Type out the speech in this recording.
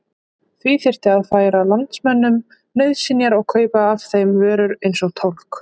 Því þyrfti að færa landsmönnum nauðsynjar og kaupa af þeim vörur eins og tólg.